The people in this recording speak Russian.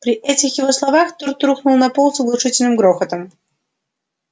при этих его словах торт рухнул на пол с оглушительным грохотом